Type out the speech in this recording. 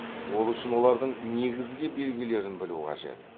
ол үшін олардың негізгі белгілерін білу қажет